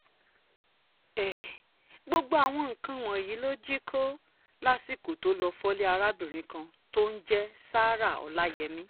um gbogbo àwọn nǹkan wọ̀nyí ló jí um kó lásìkò tó lọ́ọ́ fọ́lé arábìnrin kan tó ń jẹ́ sarah ọ̀làyémi